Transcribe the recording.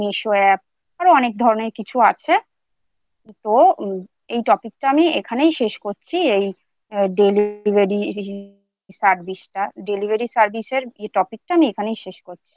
Meesho App আরও অনেক ধরনের কিছু আছে। তো এই Topic টা আমি এখানেই শেষ করছি। এই Delivery Service টা Delivery এর Topic টা এখানেই শেষ করছি।